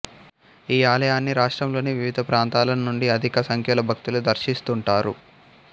ఈ ఆలయాన్ని రాష్ట్రంలోని వివిధ ప్రాంతాల నుండి అధిక సంఖ్యలో భక్తులు దర్శిస్తుంటారు